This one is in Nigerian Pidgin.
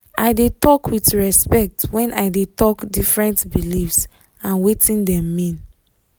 i de talk with respect when i de talk different believes and wetin dem mean